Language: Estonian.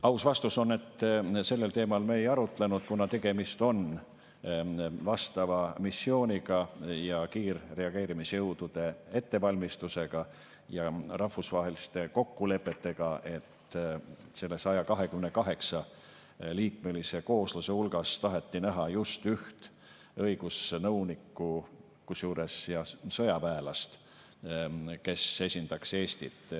Aus vastus on, et sellel teemal me ei arutlenud, kuna tegemist on vastava missiooniga ja kiirreageerimisjõudude ettevalmistusega ja rahvusvaheliste kokkulepetega, et selle 128-liikmelise koosluse hulgas taheti näha just üht õigusnõunikku, kusjuures sõjaväelast, kes esindaks Eestit.